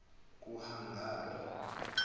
kuhagari